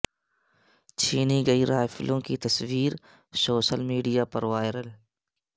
چھینی گئی رائفلوں کی تصویر سوشل میڈیا پر وائرل